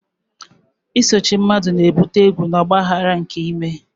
Isochie mmadu na-ebute egwu na ọgba aghara nke ime.